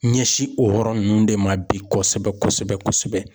Ɲɛsin o yɔrɔ ninnu de ma bi kosɛbɛ kosɛbɛ kosɛbɛ.